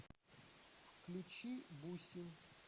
включи бусин